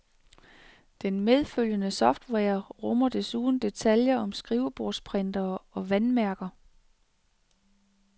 Den medfølgende software rummer desuden detaljer som skrivebordsprintere og vandmærker.